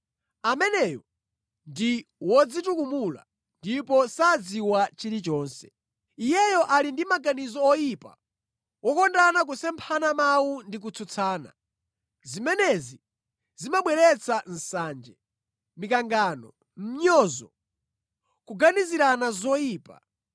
ameneyo ndi wodzitukumula ndipo sakudziwa chilichonse. Iyeyo ali ndi maganizo oyipa, wokonda kusemphana mawu ndi kutsutsana. Zimenezi zimabweretsa nsanje, mikangano, mʼnyozo, kuganizirana zoyipa,